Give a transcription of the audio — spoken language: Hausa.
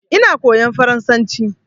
Ina koyan faransanci